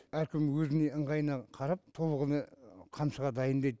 әркім өзіне ыңғайына қарап тобылғыны қамшыға дайындайды